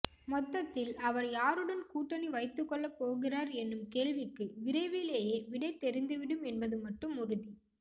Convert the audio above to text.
மொத்தத்தில் அவர் யாருடன் கூட்டணி வைத்துக்கொள்ள போகிறார் எனும் கேள்விக்கு விரைவிலேயே விடை தெரிந்துவிடும் என்பது மட்டும் உறுதி